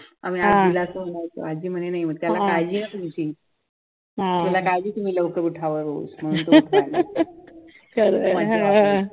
आम्ही आज्जी ला सांगायचो, आज्जी म्हणायची त्याला काळजी आहे तुमची गावी तुम्ही लवकर उठावं खूप मज्जा वाटायची